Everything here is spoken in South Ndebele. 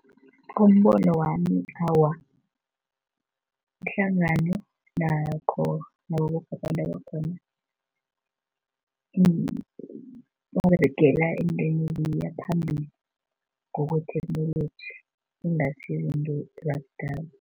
Ngombono wami awa, ihlangano nakho naboboke abantu abakhona, baberegela entweni eya phambili, ngokwetheknoloji ingasi izinto zakudala.